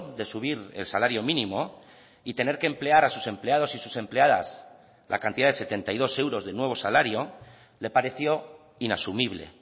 de subir el salario mínimo y tener que emplear a sus empleados y sus empleadas la cantidad de setenta y dos euros de nuevo salario le pareció inasumible